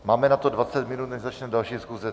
Máme na to 20 minut, než začne další schůze.